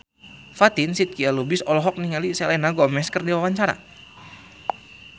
Fatin Shidqia Lubis olohok ningali Selena Gomez keur diwawancara